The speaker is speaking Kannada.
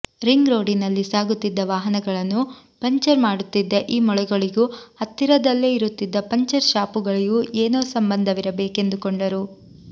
ರಿಂಗ್ ರೋಡಿನಲ್ಲಿ ಸಾಗುತ್ತಿದ್ದ ವಾಹನಗಳನ್ನು ಪಂಕ್ಚರ್ ಮಾಡುತ್ತಿದ್ದ ಈ ಮೊಳೆಗಳಿಗೂ ಹತ್ತಿರದಲ್ಲೇ ಇರುತ್ತಿದ್ದ ಪಂಕ್ಚರ್ ಶಾಪುಗಳಿಗೂ ಏನೋ ಸಂಬಂಧವಿರಬೇಕೆಂದುಕೊಂಡರು